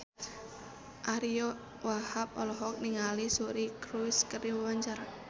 Ariyo Wahab olohok ningali Suri Cruise keur diwawancara